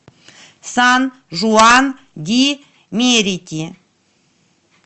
сан жуан ди мерити